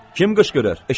Kim qışqırır?